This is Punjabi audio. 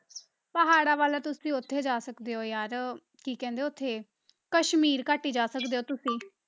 ਪਹਾੜਾਂ ਵੱਲ ਤੁਸੀਂ ਉੱਥੇ ਜਾ ਸਕਦੇ ਹੋ ਯਾਰ ਕੀ ਕਹਿੰਦੇ ਉੱਥੇ, ਕਸ਼ਮੀਰ ਘਾਟੀ ਜਾ ਸਕਦੇ ਹੋ ਤੁਸੀਂ